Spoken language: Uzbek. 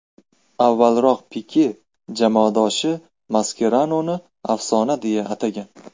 Avvalroq Pike jamoadoshi Maskeranoni afsona deya atagan.